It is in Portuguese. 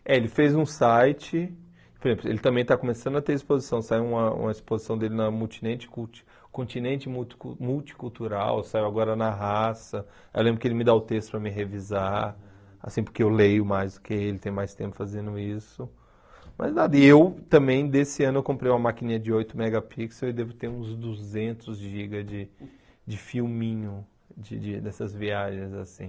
É, ele fez um site, por exemplo, ele também está começando a ter exposição, saiu uma uma exposição dele na multinente culti Continente Multi Multicultural, saiu agora na Raça, eu lembro que ele me dá o texto para mim revisar, assim, porque eu leio mais do que ele, tenho mais tempo fazendo isso, mas nada, e eu também, desse ano, eu comprei uma maquininha de oito megapixels e devo ter uns duzentos gigas de de filminho de de dessas viagens, assim.